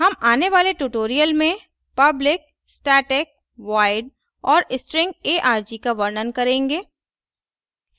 हम आने वाले tutorial में public static void और string arg का वर्णन करेंगे